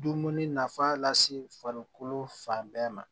Dumuni nafa lase farikolo fan bɛɛ ma